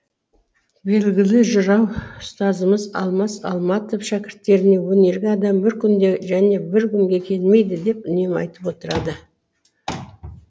белгілі жырау ұстазымыз алмас алматов шәкірттеріне өнерге адам бір күнде және бір күнге келмейді деп үнемі айтып отырады